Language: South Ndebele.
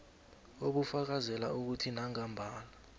obufakazela ukuthi nangambala